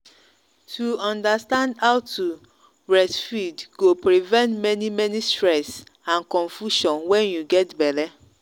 to understand how to breastfeed go prevent many many stress and confusion when you get belle.